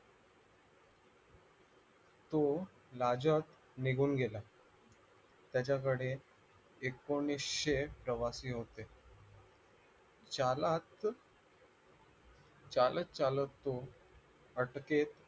तो राजक निघून गेला त्याच्याकडे एकोणीशे प्रवासी होते चालक चालत चालत तो हटके